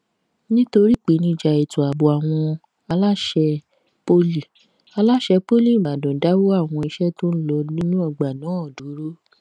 nítorí ìpèníjà ètò ààbò àwọn aláṣẹ poli aláṣẹ poli ìbàdàn dáwọ àwọn iṣẹ tó ń lọ nínú ọgbà náà dúró